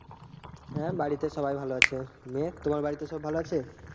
হ্যাঁ বাড়িতে সবাই ভালো আছে নিয়ে তোমার বাড়িতে সবাই ভালো আছে